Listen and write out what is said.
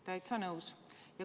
" Täitsa nõus.